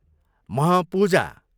म्ह पूजा